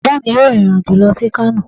Baba mí yọọ rin irín ajo lọ si Kano.